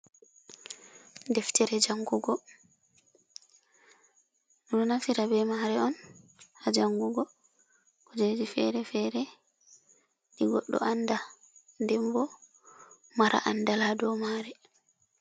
Deftere jangugo. Ɓeɗo naftira be mare on ha jangugo kujeji fere-fere, ɗi goɗɗo anda, denbo, mara andal do mare.